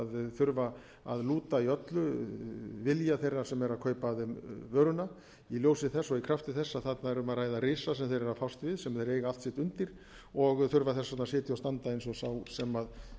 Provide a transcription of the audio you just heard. þurfa að lúta í öllu vilja þeirra sem eru að kaupa af þeim vöruna í ljósi þess og í krafti þess að þarna er um að ræða risa sem þeir eru fást við sem þeir eiga allt sitt undir og þurfa þess vegna að